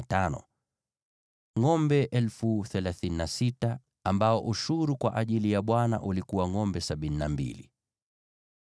ngʼombe 36,000 ambao ushuru kwa ajili ya Bwana ulikuwa ngʼombe 72;